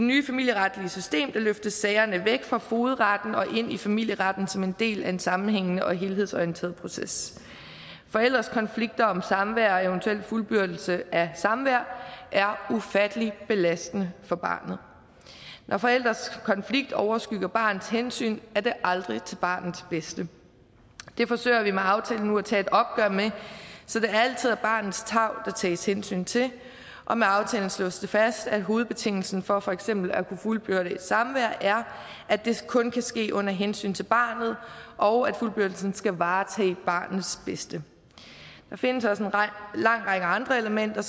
nye familieretlige system løftes sagerne væk fra fogedretten og ind i familieretten som en del af en sammenhængende og helhedsorienteret proces forældres konflikter om samvær og eventuelt fuldbyrdelse af samvær er ufattelig belastende for barnet når forældres konflikter overskygger barnets hensyn er det aldrig til barnets bedste det forsøger vi nu med aftalen at tage et opgør med så det altid er barnets tarv der tages hensyn til og med aftalen slås det fast at hovedbetingelsen for for eksempel at kunne fuldbyrde et samvær er at det kun kan ske under hensyn til barnet og at fuldbyrdelsen skal varetage barnets bedste der findes også en lang række andre elementer